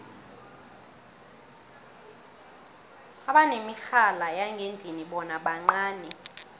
abanemirhala yangendlini bona bancani